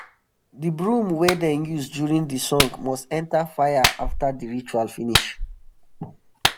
the broom wey dem use during the song must enter fire after the ritual finish.